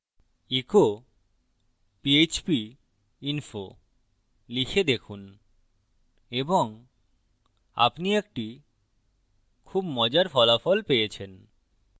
echo php info লিখে দেখুন এবং আপনি একটি খুব মজার ফলাফল পেয়েছেন